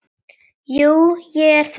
Jú, ég er það oft.